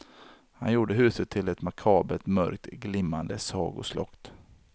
Han gjorde huset till ett makabert, mörkt glimmande sagoslott.